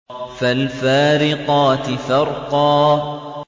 فَالْفَارِقَاتِ فَرْقًا